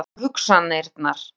Svona eru hugsanirnar.